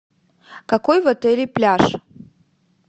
какой в отеле пляж